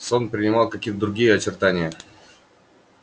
сон принимал какие то другие очертания